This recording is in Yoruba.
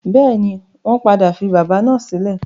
Bẹ́ẹ̀ni, wọ́n padà fi bábà náà sílẹ̀.